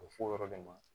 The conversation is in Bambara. A bɛ fɔ o yɔrɔ de ma